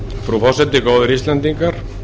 frú forseti góðir íslendingar